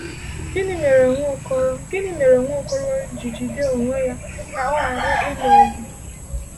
Gịnị mere Nwaokolo Gịnị mere Nwaokolo ji jide onwe ya ka ọ ghara ịlụ ọgụ?